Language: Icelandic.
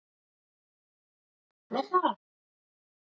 Tafir vegna umferðaróhapps